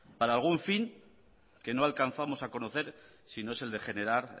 para algún fin que no alcanzamos a conocer si no es el de generar